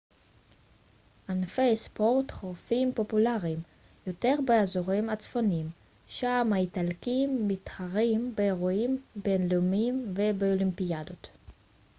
ענפי ספורט חורפיים פופולריים יותר באזורים הצפוניים שם האיטלקים מתחרים באירועים בינלאומיים ובאולימפיאדות